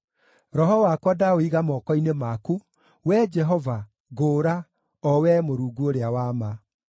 Roho wakwa ndaũiga moko-inĩ maku; Wee Jehova, ngũũra, o Wee Mũrungu ũrĩa wa ma.